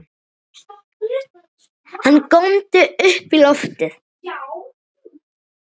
Hann góndi upp í loftið!